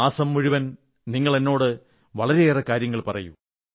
മാസം മുഴുവൻ നിങ്ങളെന്നോട് വളരെയേറെ കാര്യങ്ങൾ പറയൂ